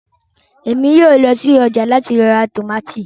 Émi yóò lọ si ọja lati ra tomati